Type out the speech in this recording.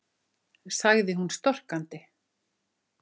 sagði hún storkandi.